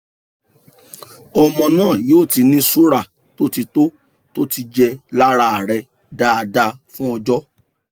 ọmọ náà yóò ti ní sùúrà tó ti tó ti jẹ́ lára rẹ̀ dáadáa fún ọjọ́